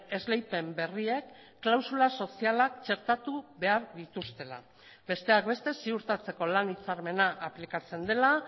esleipen berriek klausula sozialak txertatu behar dituztela besteak beste ziurtatzeko lan hitzarmena aplikatzen dela